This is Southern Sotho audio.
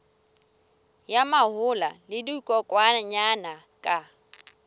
ya mahola le dikokwanyana ka